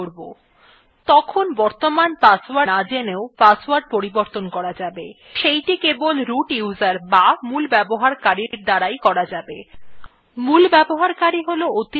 then বর্তমান password না জেনেও password পরিবর্তন করা যাবে সেইটি কেবল মূল ব্যবহারকারীর দ্বারা করা যাবে